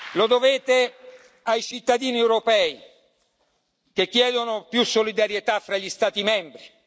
Lo dovete ai cittadini europei che chiedono più solidarietà fra gli Stati membri.